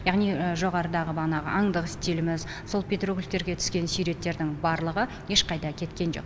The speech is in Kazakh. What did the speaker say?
яғни жоғарыдағы банағағы аңдық стиліміз сол петроглифтерге түскен барлығы ешқайда кеткен жоқ